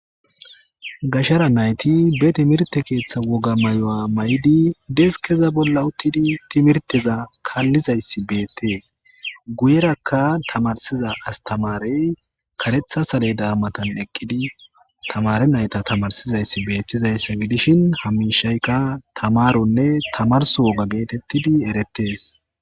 Gashara nayti be timirte keeththa woga may7o7a may7idi deskeza bolla uttidi timirteza kaallizayssi beettees guyerakka tamarsiza astamarey karetha sale daa matan eqqidi tamare nayta tamarsizayssi beettizayssa gidishin hamishaykka tamaronne tamars woga geetettidi erettees